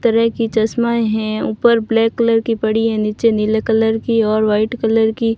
कई तरह की चश्मा है ऊपर ब्लैक कलर की पड़ी है नीचे नीले कलर की और वाइट कलर की --